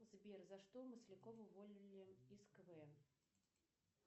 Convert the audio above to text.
сбер за что маслякова уволили из квн